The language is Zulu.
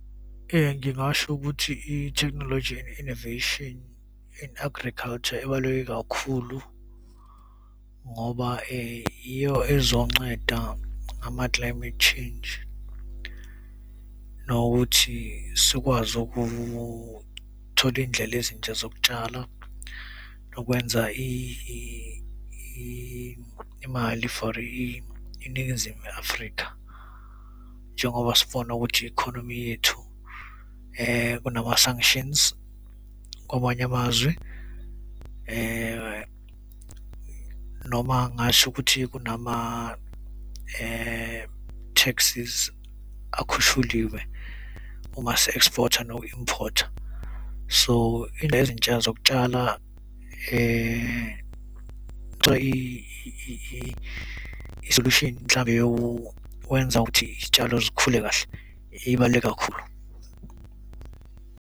Ngingasho ukuthi ithekhinologi and innovation in agriculture ibaluleke kakhulu ngoba iyo ezonceda ngama-climate change, nokuthi sikwazi ukuthola izindlela ezintsha zokutshala nokwenza imali for iNingizimu neAfrika. Njengoba sifuna ukuthi economy yethu kunama-sanctions kwamanye amazwe noma ngingasho ukuthi kunama- taxes akhushuliwe uma si-export-a noku-import-a. So, ezintsha zokutshala i-isolution mhlambe yokwenza ukuthi izitshalo zikhule kahle, ibaluleke kakhulu.